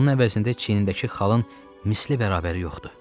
Bunun əvəzində çiynindəki xalın misli bərabəri yoxdur.